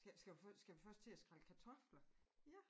Skal skal vi først skal vi først til at skrække kartofler? Ja